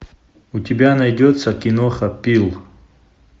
у тебя найдется киноха пил